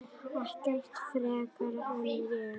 Ekkert frekar en ég.